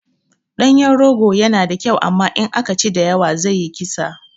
Ɗanyen rogo yana da kyau amma in aka ci da yawa zai yi kisa